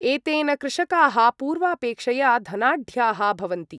एतेन कृषकाः पूर्वापेक्षया धनाढ्याः भवन्ति।